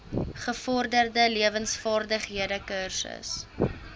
gevorderde lewensvaardighede kursus